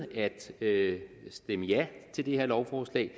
det her lovforslag